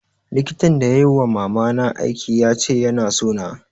Likitan da yai wa mama na aiki ya ce ya na so na